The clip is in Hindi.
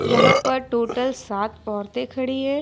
यहां पर टोटल सात औरते खड़ी है।